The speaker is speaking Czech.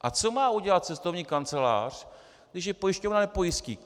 A co má udělat cestovní kancelář, když ji pojišťovna nepojistí?